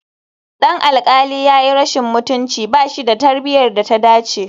Dan alƙali ya yi rashin mutunci, ba shi da tarbiyyar da ta dace